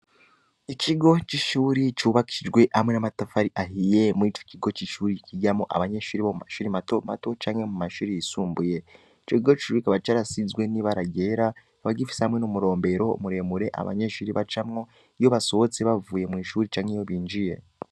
ikigo c'ishure cubakishije amwe n'amatafari ahiye muricokigo c'ishure cigiramwo abanyeshure bomamashure matomato canke mumashure y'isumbuye icokigo kikaba carashijwe n'ibara ryera kikaba gifise numuromberero muremure abanyeshure bacamwo iyo basohotse canke binziye